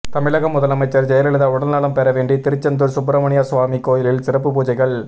தமிழக முதலமைச்சர் ஜெயலலிதா உடல்நலம் பெறவேண்டி திருச்செந்தூர் சுப்பிரமணியசுவாமி கோயிலில் சிறப்பு பூஜைகள்